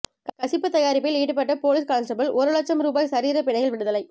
கசிப்பு தயாரிப்பில் ஈடுபட்ட police constable ஒரு இலட்சம் ரூபா சரீரப் பிணையில் விடுதலை